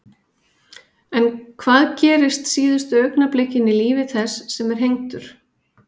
En hvað gerist síðustu augnablikin í lífi þess sem er hengdur?